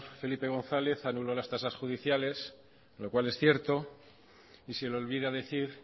felipe gonzález anuló las tasas judiciales lo cual es cierto y se le olvida decir